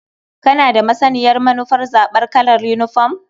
Kana da masaniyar manufar zaɓar kalar yinifom?